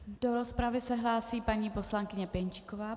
Do rozpravy se hlásí paní poslankyně Pěnčíková.